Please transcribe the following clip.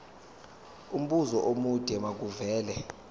umbuzo omude makuvele